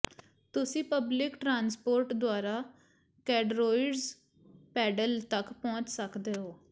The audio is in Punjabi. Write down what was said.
ਤੁਸੀਂ ਪਬਲਿਕ ਟਰਾਂਸਪੋਰਟ ਦੁਆਰਾ ਕੈਡਰੋਇਰਜ ਪੈਡਲ ਤੱਕ ਪਹੁੰਚ ਸਕਦੇ ਹੋ